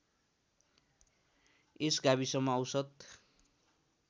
यस गाविसमा औसत